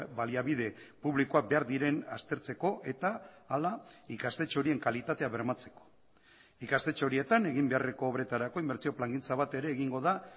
baliabide publikoak behar diren aztertzeko eta hala ikastetxe horien kalitatea bermatzeko ikastetxe horietan egin beharreko obretarako inbertsio plangintza bat ere egingo da